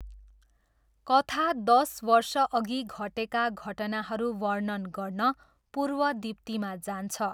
कथा दस वर्षअघि घटेका घटनाहरू वर्णन गर्न पूर्वदिप्तिमा जान्छ।